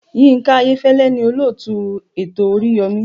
Yinka Ayefele ni olóòtú ètò oríyọmi.